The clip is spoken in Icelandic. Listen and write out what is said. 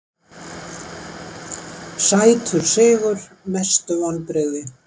sætur sigur Mestu vonbrigði?